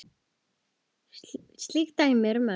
Slík dæmi eru mörg.